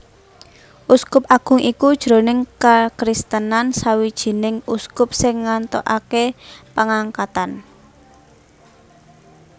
Uskup Agung iku jroning kakristenan sawijining uskup sing ngantukaké pangangkatan